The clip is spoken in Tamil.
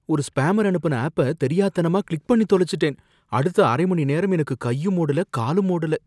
ஒரு ஸ்பேமர் அனுப்புன ஆப்ப தெரியாத்தனமா கிளிக் பண்ணி தொலைச்சுட்டேன், அடுத்த அரை மணிநேரம் எனக்கு கையும் ஓடல காலும் ஓடல